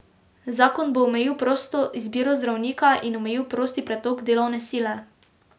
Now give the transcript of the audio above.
Zakon bo omejil prosto izbiro zdravnika in omejil prosti pretok delovne sile.